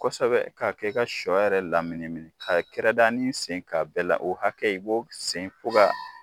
Kosɛbɛ k'a kɛ ka sɔ yɛrɛ laminimini a kɛrɛdanin sen k'a bɛɛ la o hakɛ i b'o sen fo ka